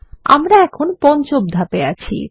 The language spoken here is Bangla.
আমরা এখন পঞ্চম ধাপে আছি